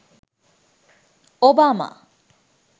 obama